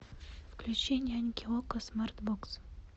включи няньки окко смарт бокс